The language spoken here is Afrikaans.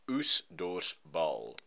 oes dors baal